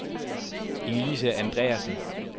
Inge-Lise Andreasen